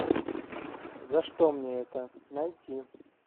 за что мне это найти